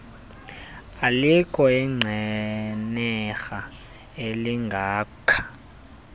alikho inqenerha elingakha